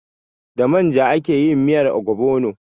Da manja ake yin miyar ogbono.